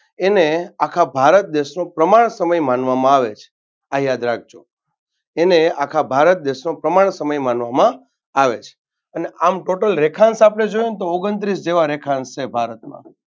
એને આખા ભારત દેશનો પ્રમાણ સમય માણવામાં આવે આ યાદ રાખજો એને આખા ભારત દેશનો પ્રમાણ સમય માનવામાં આવે છે. આમ Total ઓગણત્રીસ જેવા રેખાંશ છે ભારતમાં.